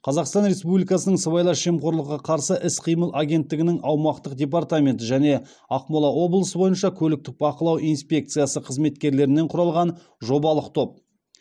қазақстан республикасының сыбайлас жемқорлыққа қарсы іс қимыл агенттігінің аумақтық департаменті және ақмола облысы бойынша көліктік бақылау инспекциясы қызметкерлерінен құралған жобалық топ